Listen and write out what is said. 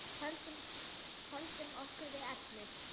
Höldum okkur við efnið.